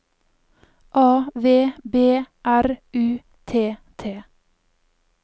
A V B R U T T